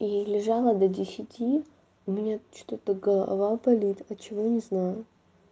и лежала до десяти у меня что-то голова болит от чего не знаю